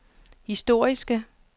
historiske